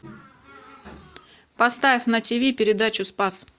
поставь на тв передачу спас